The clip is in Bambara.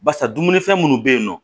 Barisa dumunifɛn minnu bɛ yen nɔ